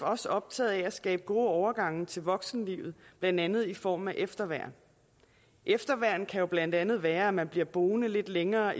også optaget af at skabe gode overgange til voksenlivet blandt andet i form af efterværn efterværn kan jo blandt andet være at man bliver boende lidt længere